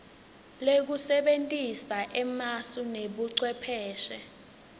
lekusebentisa emasu nebucwepheshe